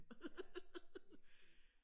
Ja lige præcis